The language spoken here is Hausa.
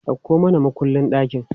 Dauko mana mukullin ɗakin!